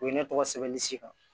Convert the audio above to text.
U ye ne tɔgɔ sɛbɛn ni sikan